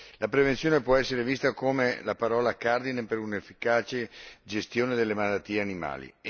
La prevenzione può essere vista come la parola cardine per un'efficace gestione delle malattie animali.